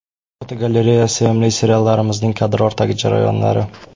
Fotogalereya: Sevimli seriallarimizning kadr ortidagi jarayonlari.